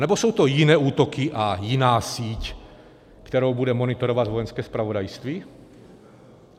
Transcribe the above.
Anebo jsou to jiné útoky a jiná síť, kterou bude monitorovat Vojenské zpravodajství?